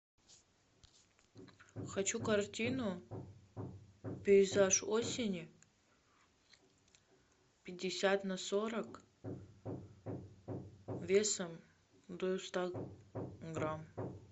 хочу картину пейзаж осени пятьдесят на сорок весом до ста грамм